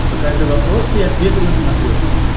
покажи вопросы и ответы на смотрешке